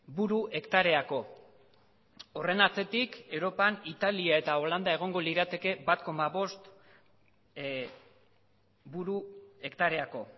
buru hektareako horren atzetik europan italia eta holanda egongo lirateke bat koma bost buru hektareako